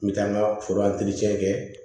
N bɛ taa n ka foro kɛ